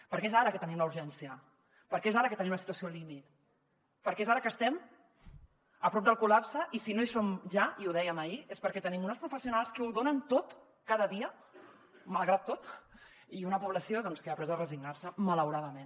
perquè és ara que tenim la urgència perquè és ara que tenim la situació límit perquè és ara que estem a prop del col·lapse i si no hi som ja i ho dèiem ahir és perquè tenim unes professionals que ho donen tot cada dia malgrat tot i una població que ha après a resignar se malauradament